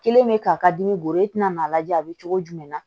Kelen bɛ k'a ka dimi bolo i tɛna n'a lajɛ a bɛ cogo jumɛn na